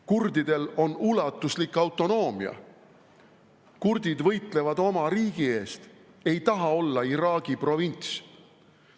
Kurdidel on ulatuslik autonoomia, kurdid võitlevad oma riigi eest, ei taha olla Iraagi provints.